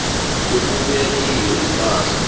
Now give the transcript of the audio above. okubuya kiyo ipahla